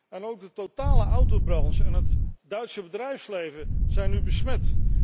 En ook de totale autobranche en het Duitse bedrijfsleven zijn nu besmet.